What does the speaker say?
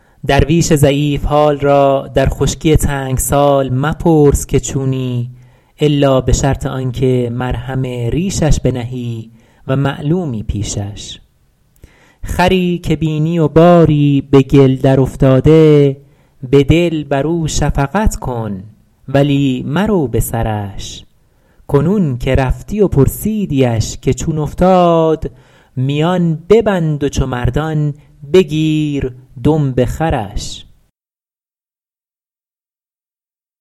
درویش ضعیف حال را در خشکی تنگ سال مپرس که چونی الا به شرط آن که مرهم ریشش بنهی و معلومی پیشش خری که بینی و باری به گل درافتاده به دل بر او شفقت کن ولی مرو به سرش کنون که رفتی و پرسیدیش که چون افتاد میان ببند و چو مردان بگیر دمب خرش